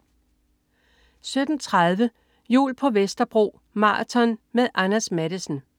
17.30 Jul på Vesterbro. Maraton. Med Anders Matthesen